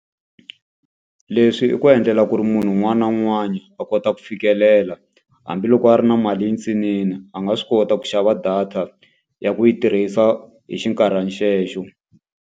Leswi i ku endlela ku ri munhu un'wana na un'wana a kota ku fikelela. Hambi loko a ri na mali yintsanana a nga swi kota ku xava data, ya ku yi tirhisa xinkarhana xelexo.